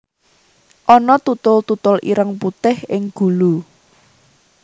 Ana tutul tutul ireng putih ing gulu